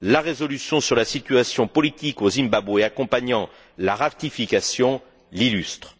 La résolution sur la situation politique au Zimbabwe accompagnant la ratification l'illustre.